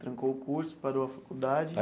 Trancou o curso, parou a faculdade.